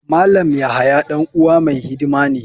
Malam yahaya dan uwa mai hidima ne.